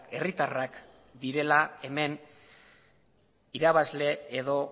herritarrak direla hemen irabazle edo